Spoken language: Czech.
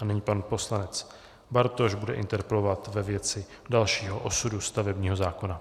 A nyní pan poslanec Bartoš bude interpelovat ve věci dalšího osudu stavebního zákona.